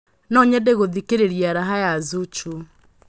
no nyende gũthikĩrĩria raha ya zuchu